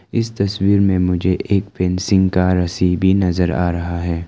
इस तस्वीर में मुझे एक फैंसिंग का रासी भी नजर आ रहा है।